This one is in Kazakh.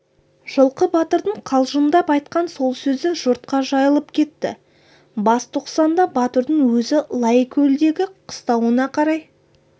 жылқы батырдың қалжыңдап айтқан сол сөзі жұртқа жайылып кетті бас тоқсанда батырдың өзі лайкөлдегі қыстауына қарай